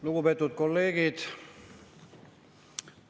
Lugupeetud kolleegid!